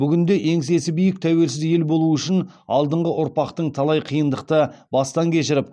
бүгінде еңсесі биік тәуелсіз ел болу үшін алдыңғы ұрпақтың талай қиындықты бастан кешіріп